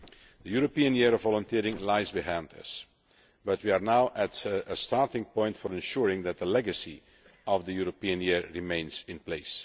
The European Year of Volunteering lies behind us, but we are now at a starting point for ensuring that the legacy of that European Year remains in place.